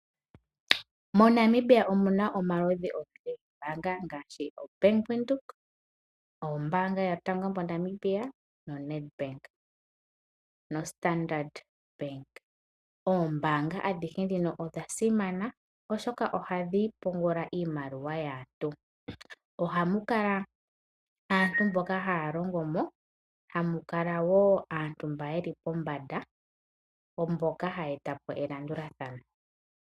MoNamibia omu na omaludhi ogendji goombaanga ngaashi oBank Windhoek, Ombaanga yotango moNamibia, Nedbank noStandard Bank. Oombanga adhihe ndhino odha simana oshoka ohadhi pungula iimaliwa yaantu. Ohamu kala aantu mboka haya longo mo, ohamu kala wo aantu mboka ye li pombanda; mboka haya eta po elandulathano.